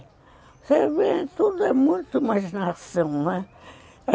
Você vê, tudo é muito imaginação, não é?